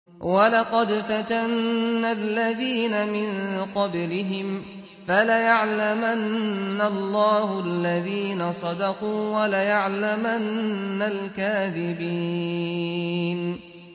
وَلَقَدْ فَتَنَّا الَّذِينَ مِن قَبْلِهِمْ ۖ فَلَيَعْلَمَنَّ اللَّهُ الَّذِينَ صَدَقُوا وَلَيَعْلَمَنَّ الْكَاذِبِينَ